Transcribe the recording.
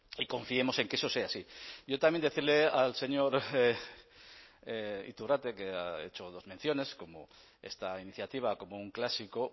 y confiemos en que eso sea así yo también decirle al señor iturrate que ha hecho dos menciones como esta iniciativa como un clásico